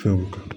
Fɛnw kan